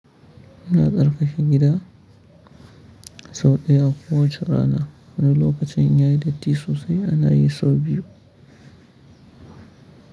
Ina tsarkake gida sau ɗaya a kowace rana. Wani lokacin yayi datti sosai ana yi sau biyu.